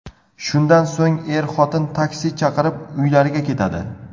Shundan so‘ng er-xotin taksi chaqirib, uylariga ketadi.